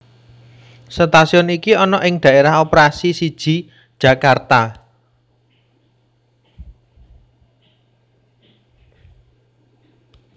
Stasiun iki ana ing Daerah Operasi siji Jakarta